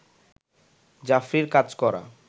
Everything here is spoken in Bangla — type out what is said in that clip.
জাফরির কাজ করা